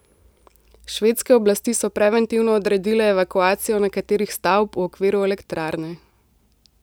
Švedske oblasti so preventivno odredile evakuacijo nekaterih stavb v okviru elektrarne.